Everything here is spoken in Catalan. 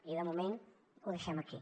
i de moment ho deixem aquí